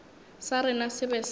sa rena se be se